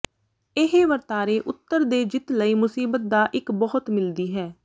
ਇਹ ਵਰਤਾਰੇ ਉੱਤਰ ਦੇ ਜਿੱਤ ਲਈ ਮੁਸੀਬਤ ਦਾ ਇੱਕ ਬਹੁਤ ਮਿਲਦੀ ਹੈ